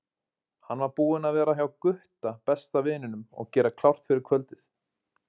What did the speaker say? Hann var búinn að vera hjá Gutta, besta vininum, og gera klárt fyrir kvöldið.